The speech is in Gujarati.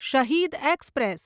શહીદ એક્સપ્રેસ